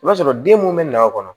I b'a sɔrɔ den mun bɛ n'a kɔnɔ